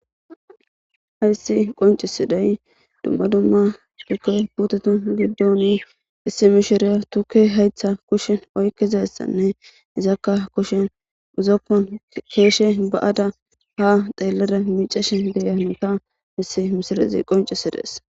hayssi qoncisiday dumma dumma tukke puteta giddoni issi mishiriya tukke haytha kushin oykizassanne izakka kushen uzoppon keeshe ba7ada ha xeellada micashe giyanota misi misilazi qoncisi dees